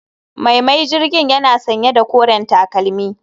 Mai mai jirgin yana sanye da koren takalmi